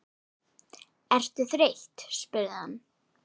Ertu þreytt? spurði hann.